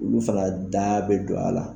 U fana da bɛ don a la